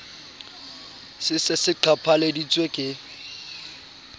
se se se qhaphaleditswe ke